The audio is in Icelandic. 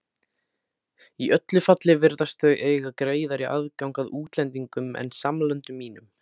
Í öllu falli virðast þau eiga greiðari aðgang að útlendingum en samlöndum mínum.